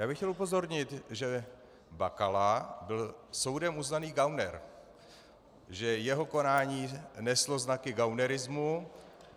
Já bych chtěl upozornit, že Bakala byl soudem uznaný gauner, že jeho konání neslo znaky gaunerismu.